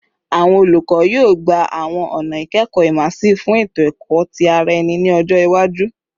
Awọn olukọ, yoo gba awọn ọna ikẹkọ immersive fun eto-ẹkọ ti ara ẹni ni ọjọ iwaju